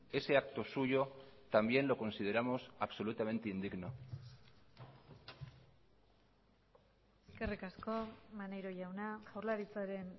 ese acto suyo también lo consideramos absolutamente indigno eskerrik asko maneiro jauna jaurlaritzaren